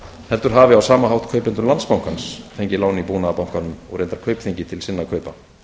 heldur hafi á sama hátt kaupendur landsbankans fengið lán í búnaðarbankanum og reyndar kaupþingi til sinna kaupa